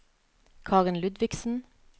Karen Ludvigsen